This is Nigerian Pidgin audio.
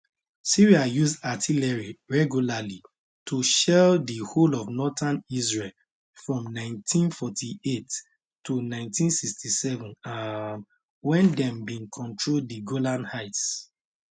syria use artillery regularly to shell di whole of northern israel from 1948 to 1967 um wen dem bin control di golan heights